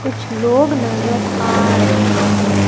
कुछ लोग नज़र आ रहे हैं।